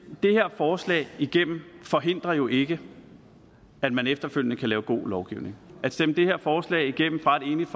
det her forslag igennem forhindrer jo ikke at man efterfølgende kan lave god lovgivning at stemme det her forslag igennem fra et enigt